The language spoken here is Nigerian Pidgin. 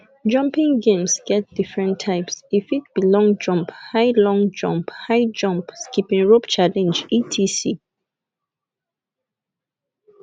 jumping games get different types e fit be long jump high long jump high jump skipping rope challenge etc